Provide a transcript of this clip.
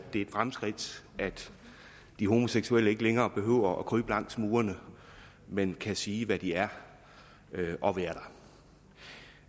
det er et fremskridt at de homoseksuelle ikke længere behøver at krybe langs murene men kan sige hvad de er og være der